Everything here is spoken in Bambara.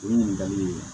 O ye ɲininkali ye